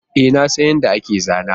E, na san yadda ake zana